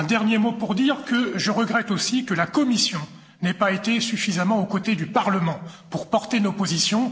Un dernier mot pour dire que je regrette aussi que la Commission n'ait pas été suffisamment aux côtés du Parlement pour porter nos positions.